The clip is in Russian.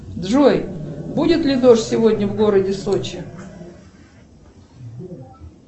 джой будет ли дождь сегодня в городе сочи